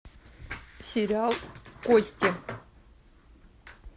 сериал кости